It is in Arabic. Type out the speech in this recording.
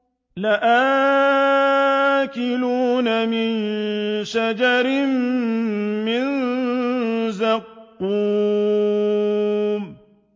لَآكِلُونَ مِن شَجَرٍ مِّن زَقُّومٍ